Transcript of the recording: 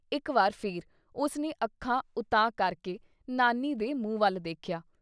ਇਕ ਵਾਰ ਫਿਰ ਉਸਨੇ ਅੱਖਾਂ ਉਤਾਂਹ ਕਰਕੇ ਨਾਨੀ ਦੇ ਮੁੰਹ ਵੱਲ ਦੇਖਿਆ।